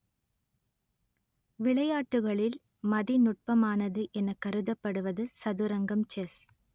விளையாட்டுகளில் மதிநுட்பமானது எனக் கருதப்படுவது சதுரங்கம் செஸ்